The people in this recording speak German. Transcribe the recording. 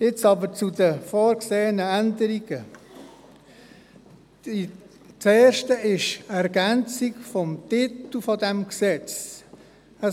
Jetzt aber zu den vorgesehenen Änderungen: Das Erste ist die Änderung des Titels dieses Gesetzes.